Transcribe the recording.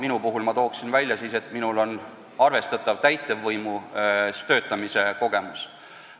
Enda puhul ma tooksin välja selle, et mul on arvestatav täitevvõimus töötamise kogemus.